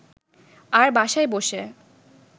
আর বাসায় বসে